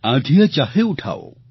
આંધિયાં ચાહે ઉઠાઓ